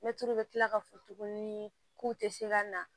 Mɛtiri bɛ tila k'a fɔ tuguni k'u tɛ se ka na